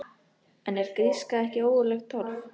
En er gríska ekki ógurlegt torf?